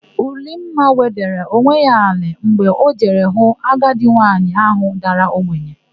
Ulimma wedara onwe ya n'ala mgbe o jere hụ agadi nwaanyị áhụ̀ dara ogbenye.